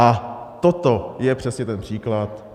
A toto je přesně ten příklad.